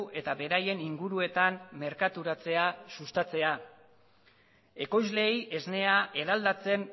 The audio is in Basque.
eta beraien inguruetan merkaturatzea sustatzea ekoizleei esnea eraldatzen